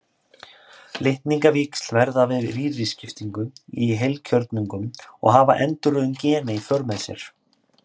Litningavíxl verða við rýriskiptingu í heilkjörnungum og hafa endurröðun gena í för með sér.